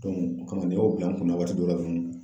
o komi n y'o bila n kunna waati dɔ la dɔrɔn.